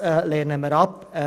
Das lehnen wir ab.